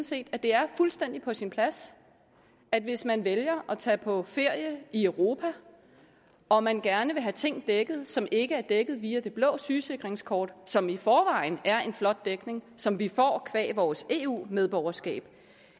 set at det er fuldstændig på sin plads at hvis man vælger at tage på ferie i europa og man gerne vil have ting dækket som ikke er dækket via det blå sygesikringskort som i forvejen er en flot dækning som vi får qua vores eu medborgerskab